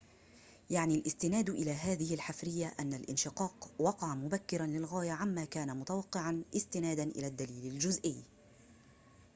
يعني الاستناد إلى هذه الحفرية أن الانشقاق وقع مبكرًا للغاية عما كان متوقعًا استنادًا إلى الدليل الجزيئي